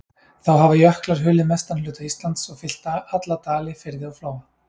Þá hafa jöklar hulið mestan hluta Íslands, og fyllt alla dali, firði og flóa.